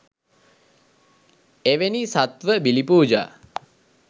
එවැනි සත්ත්ව බිලි පූජා